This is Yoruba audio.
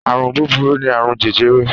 Àrùn búburú ni àrùn jẹjẹrẹ.